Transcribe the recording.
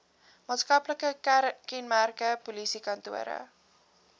maatskaplike kenmerke polisiekantore